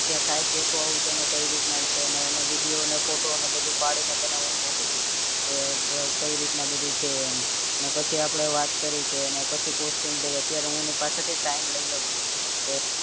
તે site જોતો આવું કે એને કઈ રીતના છે અને video ને photo અને બધું પાડીને તને હું મોકલું કે કઈ રીતના બધું છે એમ ને પછી આપડે વાત કરીએ કે પછી costing દઈએ અત્યારે હું એની પાસે થી time લઇ લવ છું